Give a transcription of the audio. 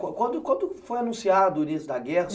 Quando quando foi anunciado o início da guerra?